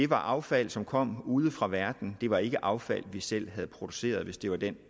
var affald som kom ude fra verden det var ikke affald vi selv havde produceret hvis det var den